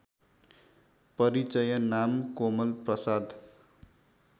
परिचय नाम कोमलप्रसाद